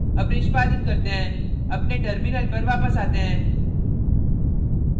अब निष्पादित करते हैं अपने terminal पर वापस आते हैं